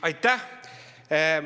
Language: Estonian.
Aitäh!